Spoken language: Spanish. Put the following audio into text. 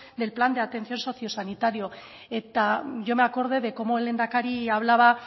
del plan de atención socio sanitario eta yo me acordé de cómo el lehendakari hablaba